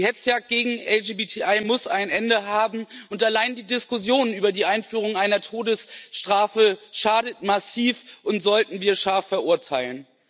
Die Hetzjagd gegen LGBTI muss ein Ende haben. Allein die Diskussion über die Einführung einer Todesstrafe schadet massiv, und wir sollten sie scharf verurteilen.